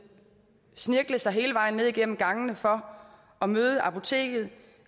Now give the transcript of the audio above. snirkle sig hele vejen ned igennem gangene for at møde apoteket